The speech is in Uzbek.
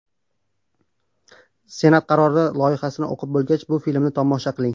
Senat qarori loyihasini o‘qib bo‘lgach, bu filmni tomosha qiling!.